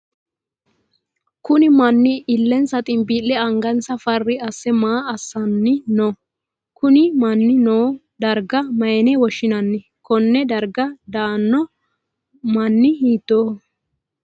Kunni manni ilensa ximbii'le angansa fari ase maa assanni no? Konni manni noo darga mayinne woshinnanni? Konni dargira daano manni hiittooho?